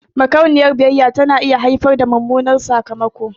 Makauniyar biyayya tana iya haifar da mummunan sakamako.